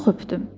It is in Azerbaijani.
Çox öpdüm.